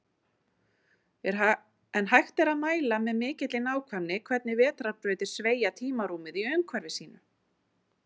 En hægt er að mæla með mikilli nákvæmni hvernig vetrarbrautir sveigja tímarúmið í umhverfi sínu.